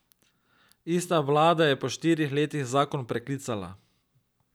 Ista vlada je po štirih letih zakon preklicala.